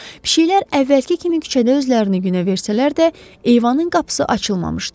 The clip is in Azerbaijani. Pişiklər əvvəlki kimi küçədə özlərini günə versələr də, eyvanın qapısı açılmamışdı.